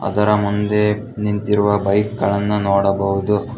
ಅದರ ಮುಂದೆ ನಿಂತಿರುವ ಬೈಕ್ ಗಳನ್ನು ನೋಡಬಹುದು.